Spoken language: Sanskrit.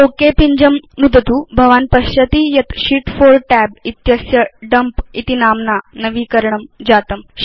ओक पिञ्जं नुदतु भवान् पश्यति यत् शीत् 4 tab इत्यस्य Dumpइति नाम्ना नवीकरणं जातम्